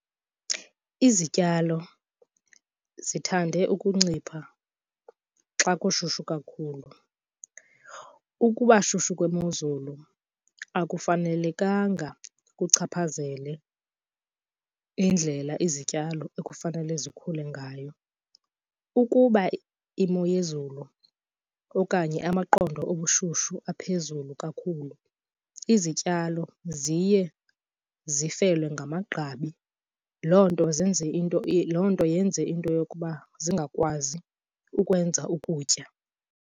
Izityalo zithande ukuncipha xa kushushu kakhulu. Ukubashushu kwemozulu akufanelekanga kuchaphazele indlela izityalo ekufanele zikhule ngayo. Ukuba imo yezulu okanye amaqondo obushushu aphezulu kakhulu, izityalo ziye zifelwe ngamagqabi. Yiloo nto zenze into, loo nto yenze into yokuba zingakwazi ukwenza ukutya.